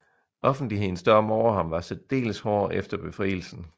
Offentlighedens dom over ham var særdeles hård efter befrielsen